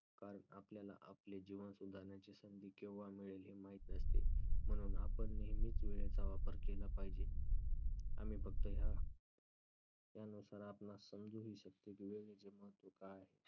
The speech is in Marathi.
कारण आपल्याला आपले जीवन सुधारण्याची संधी केव्हा मिळेल हे माहित नसते. म्हणून आपण नेहमीच वेळेचा वापर केला पाहिजे. आणि फक्त ह्या यानुसार आपणास समजूही शकते की वेळेचे महत्त्व काय आहे.